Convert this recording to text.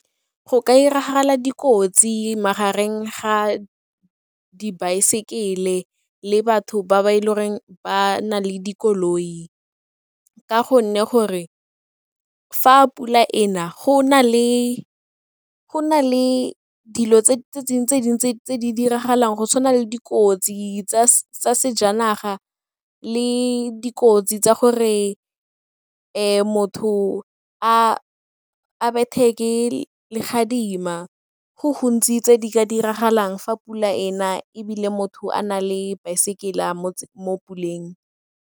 Go ka 'iragala dikotsi magareng ga dibaesekele le batho ba ba e le goreng ba na le dikoloi ka gonne gore fa pula e na go na le dilo tse dingwe tse dintsi tse di diragalang go tshwana le dikotsi tsa sejanaga le dikotsi tsa gore e motho a bethe ke legadima, go gontsi tse di ka diragalang fa pula e na ebile motho a na le baesekele mo puleng.